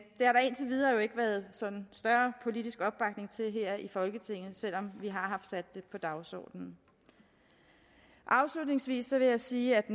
indtil videre ikke været sådan større politisk opbakning til her i folketinget selv om vi har sat det på dagsordenen afslutningsvis vil jeg sige at